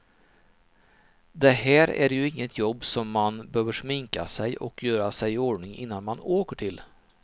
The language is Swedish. Det här är ju inget jobb som man behöver sminka sig och göra sig i ordning innan man åker till.